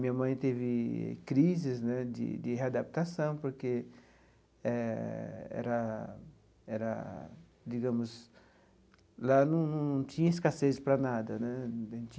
Minha mãe teve crises né de de readaptação porque eh, era era digamos, lá não tinha escassez para nada né.